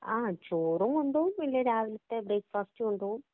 ആ ചോറും കൊണ്ട് പോകും. പിന്നെ രാവിലത്തെ ബ്രേക്ക്‌ ഫാസ്റ്റ് കൊണ്ടുപോവും..